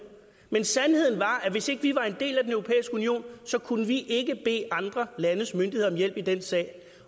men sandheden er at hvis ikke vi var en del af den europæiske union kunne vi ikke bede andre landes myndigheder om hjælp i den sag